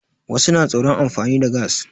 Wasu na tsoron amfani da gas.